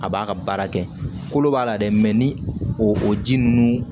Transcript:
A b'a ka baara kɛ kolo b'a la dɛ mɛ ni o ji nunnu